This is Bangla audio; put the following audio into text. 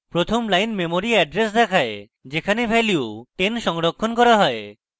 প্রথম line memory এড্রেস দেখায় যেখানে value 10 সংরক্ষণ করা হয়